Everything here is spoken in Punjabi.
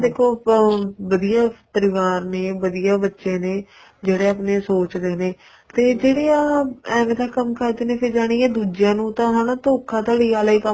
ਦੇਖੋ ਅਹ ਵਧੀਆ ਪਰਿਵਾਰ ਨੇ ਵਧੀਆ ਬੱਚੇ ਨੇ ਜਿਹੜੇ ਆਪਣੇ ਸੋਚਦੇ ਦੇ ਨੇ ਤੇ ਜਿਹੜੇ ਆ ਐਵੇ ਦਾ ਕੰਮ ਕਰਦੇ ਨੇ ਫ਼ੇਰ ਜਾਨੀ ਏ ਦੂਜਿਆਂ ਨੂੰ ਤਾਂ ਹੈਨਾ ਥੋਖਾ ਧੜੀ ਆਲਾ ਹੀ ਕੰਮ